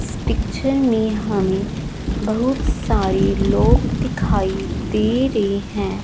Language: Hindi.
इस पिक्चर में हमें बहुत सारे लोग दिखाई दे रहे हैं।